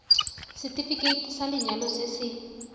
setefikeiti sa lenyalo se se